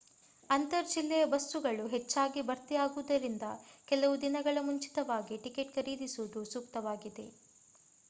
ಅಂತರ್ ಜಿಲ್ಲೆಯ ಬಸ್ಸುಗಳು ಹೆಚ್ಚಾಗಿ ಭರ್ತಿಯಾಗುವುದರಿಂದ ಕೆಲವು ದಿನಗಳ ಮುಂಚಿತವಾಗಿ ಟಿಕೆಟ್ ಖರೀದಿಸುವುದು ಸೂಕ್ತವಾಗಿದೆ